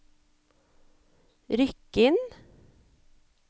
Rykkinn